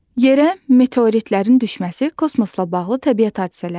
Yerə meteoritlərin düşməsi kosmosla bağlı təbiət hadisələridir.